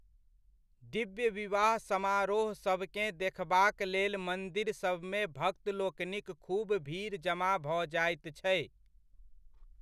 दिव्य विवाह समारोह सभकेँ देखबाक लेल मन्दिरसभमे भक्त लोकनिक खूब भीड़ जमा भऽ जाइत छै।